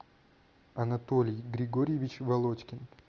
анатолий григорьевич володькин